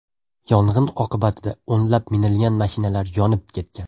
Yong‘in oqibatida o‘nlab minilgan mashinalar yonib ketgan.